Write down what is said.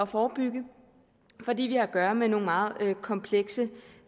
forebygge fordi vi har at gøre med nogle meget komplekse